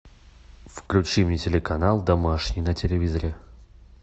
включи мне телеканал домашний на телевизоре